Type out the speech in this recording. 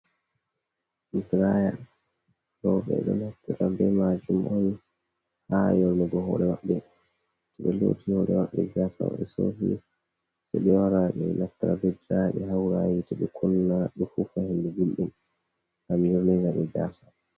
Ɗiraya, ɗo ɓe ɗo naftara be majum on, ha yornugo hore waɓɓe. To ɓe loti hore maɓɓe, gasa mI sofi sai ɓe wara ɓe naftra ɓe diraya. Ɓe haura ha hite, ɓe kunna, ɓe fufa hinɗu gulɗum, ngam yurnina ɓe gasa.